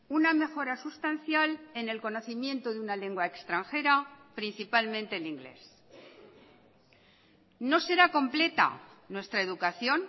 una mejora sustancial en el conocimiento de una lengua extranjera principalmente el inglés no será completa nuestra educación